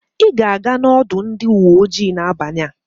Ị ga-aga n'ọdụ ndị uwe ojii n'abalị a.